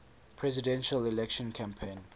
presidential election campaign